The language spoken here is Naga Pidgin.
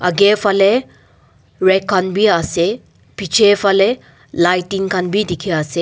aage phale rack khan bi ase piche phale lighting khan bi dikhi ase.